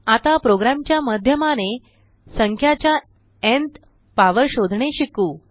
आता प्रोग्राम च्या माध्यमाने संख्याच्या न्थ पावर शोधणे शिकू